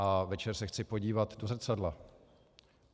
A večer se chci podívat do zrcadla.